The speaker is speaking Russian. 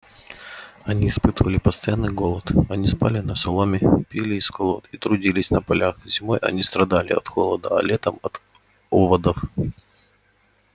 они испытывали постоянный голод они спали на соломе пили из колод и трудились на полях зимой они страдали от холода а летом от оводов